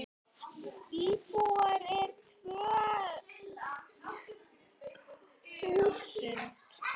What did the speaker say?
Íbúar eru rúm tvö þúsund.